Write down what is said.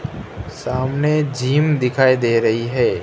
सामने जिम दिखाई दे रही है।